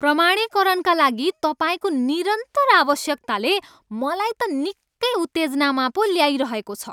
प्रमाणीकरणका लागि तपाईँको निरन्तर आवश्यकताले मलाई त निक्कै उत्तेजनामा पो ल्याइरहेको छ।